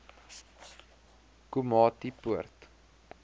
komatipoort